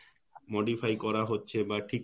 modify করা হচ্ছে বা ঠিক